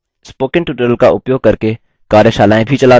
spoken tutorials का उपयोग करके कार्यशालाएँ भी चलाती है